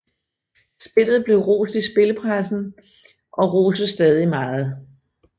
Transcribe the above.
Spillet blev rost i spillepressen og og roses stadig meget